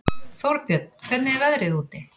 Þórbjörn, hvernig er veðrið úti?